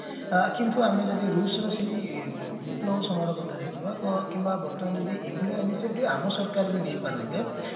କିନ୍ତୁ ଆମେ ଯଦି ସେଇ ରୁଷ ର ସେଇ ବିପ୍ଲବ ସମାନ କଥା ଦେଖିବା କିମ୍ବା ବର୍ତ୍ତମାନ ଯଦି ଏଭଳିଆ ଆମ ସରକାର ବି ନେଇପାରନ୍ତେ